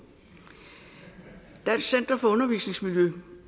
dansk center for undervisningsmiljø